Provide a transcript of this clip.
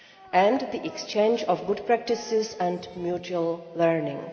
and the exchange of good practices and mutual learning.